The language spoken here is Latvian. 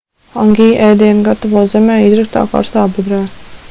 hangi ēdienu gatavo zemē izraktā karstā bedrē